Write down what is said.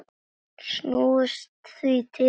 Snúumst því til varnar!